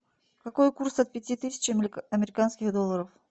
какой курс от пяти тысяч американских долларов